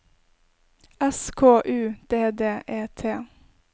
S K U D D E T